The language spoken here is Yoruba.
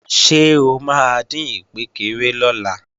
Ṣé o máa dín ìkpékeré lọ́la?